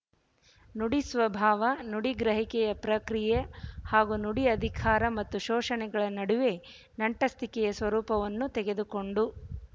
ನುಡಿ ಸ್ವಭಾವ ನುಡಿ ಗ್ರಹಿಕೆಯ ಪ್ರಕ್ರಿಯೆ ಹಾಗೂ ನುಡಿ ಅಧಿಕಾರ ಮತ್ತು ಶೋಷಣೆಗಳ ನಡುವಣ ನಂಟಸ್ತಿಕೆಯ ಸ್ವರೂಪವನ್ನು ತೆಗೆದುಕೊಂಡು